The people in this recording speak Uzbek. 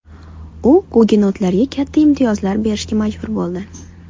U gugenotlarga katta imtiyozlar berishga majbur bo‘ldi.